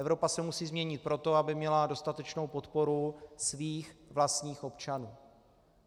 Evropa se musí změnit proto, aby měla dostatečnou podporu svých vlastních občanů.